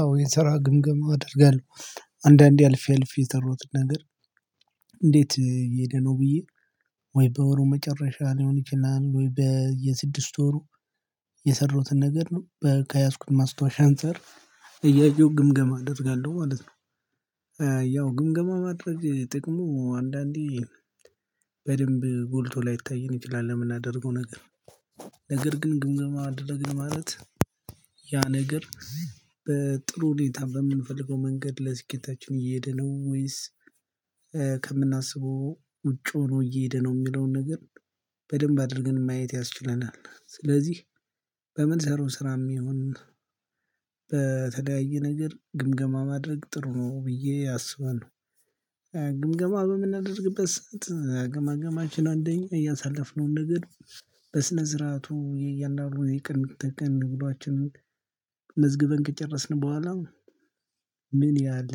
አዎ የሰራ ግምገማ አደርጋለሁ አንዳንዴ አልፌ አልፌ የሰራዉትን ነገር። እንዴት እየሄደ ነው ብዬ ወይ በወሩ መጨረሻ ሊሆን ይችላል ወይ በየ ስድስት ወሩ? የሰራዉትን ነገር ነው ከያዝኩት ማስታወሻ አንፃር እያየሁ ግምገማ እደርጋለሁ ማለት ነው። ያው ግምገማ ማድረግ ጥቅሙ አንዳንዴ በደንብ ጎልቶ ላይታየን ይችላል ለምናደርገው ነገር። ነገር ግን ግምገማ አደረግን ማለት ያ ነገር። በጥሩ ሁኔታ በምንፈልገው መንገድ ለስኬታችን እየሄደ ነው ወይስ ከምናስበው ውጭ ሆኖ እየሄደ ነው የሚለውን ነገር በደንብ አድርገን ማየት ያስችለናል። ስለዚህ በምን ስራው ስራም ይሁን በተለያየ ነገር ግምገማ ማድረግ ጥሩ ነው ብዬ አስባለሁ። ግምገማ በምናደርግበት ሰዓት አገማገማችን አንደኛ ያሳለፍነውን ነገር በስነ ስረአቱ ያእያንዳንዱ የቀን ተቀን ዉሏችንን መዝግበን ከጨረስን በኋላ። ምን ያህል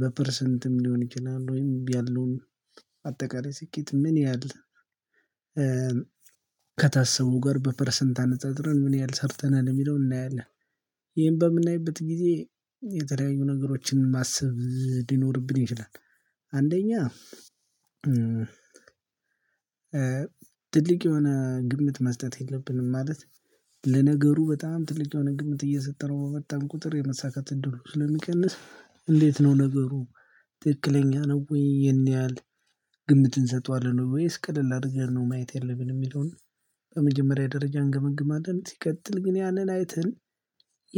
በፐርሰንትም ሊሆን ይችላል ወይም ያለውን አጠቃላይ ስኬት ምን ያህል ከታሰበው ጋር በፐርሰንት አነጻጽረን ምን ያህል ሰርተናል የሚለውን እናያለን። ይሄን በምናይበት ጊዜ የተለያዩ ነገሮችን ማሰብ ሊኖርብን ይችላል። አንደኛ ትልቅ የሆነ ግምት መስጠት የለብንም። ማለት ለነገሩ በጣም ትልቅ የሆነ ግምት እየሰጠነው በመጣን ቁጥር የመሳካት እድሉ ስለሚቀንስ እንዴት ነው ነገሩ? ትክክለኛ ነው ወይ ይሄን ያህል ግምት እንሰጠዋለን ወይስ ቅልል አድርገን ነው ማየት የለብን የሚለውን። በመጀመሪያ ደረጃ እንገመግማለን ሲቀጥል ግን ያንን አይተን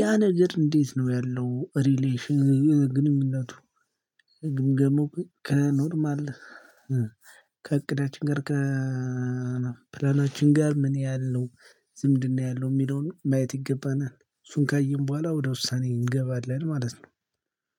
ያ ነገር እንዴት ነው ያለው ሪሌሽን ግንኙነቱ ግምገማው ከኖርማል ከእቅዳችን ጋር ከፕላናችን ጋር ምን ያህል ነው ዝምድና ያለው የሚለውን ማየት ይገባናል። እሱን ካየን በኋላ ወደ ውሳኔ እንገባለን ማለት ነው